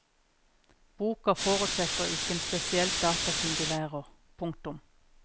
Boka forutsetter ikke en spesielt datakyndig lærer. punktum